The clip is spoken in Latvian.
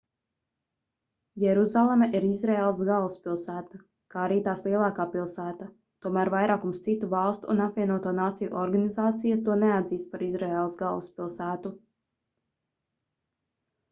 jeruzaleme ir izraēlas galvaspilsēta kā arī tās lielākā pilsēta tomēr vairākums citu valstu un apvienoto nāciju organizācija to neatzīst par izraēlas galvaspilsētu